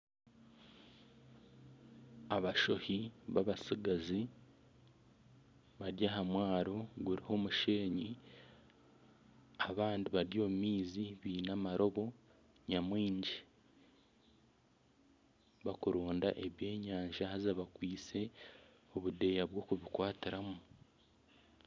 Abashohi b'abatsigazi bari aha mwaro guriho omushenyi abandi bari omu maizi baine amarobo nyamwingi barikuronda ebyenyanja haza bakwitse obudeeya bw'okubikwatiramu